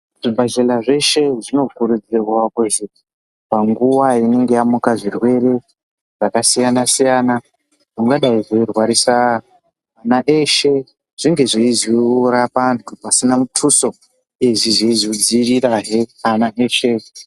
Zvi bhedhlera zveshe zvino kurudzirwa kuzi pa nguva inenge yamuka zvirwere zvaka siyana siyana zvingadai zveirwadzisa ana eshe zvinge zveizo rapa antu pasina mutuso izvi zveizo dzivirira he ana eshe .